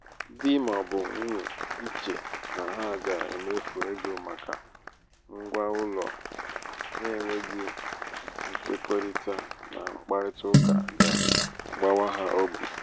di ma um ọ bụ nwunye íchè na ha um ga-emefu ego màkà ngwa ụlọ n'enweghị nkwekọrịta na mkparịtaụka ga-agbawa ha obi.